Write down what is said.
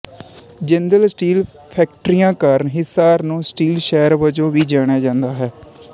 Jindal steel ਫੈਕਟਰੀਆਂ ਕਾਰਨ ਹਿਸਾਰ ਨੂੰ ਸਟੀਲ ਸ਼ਹਿਰ ਵਜੋਂ ਵੀ ਜਾਣਿਆ ਜਾਂਦਾ ਹੈ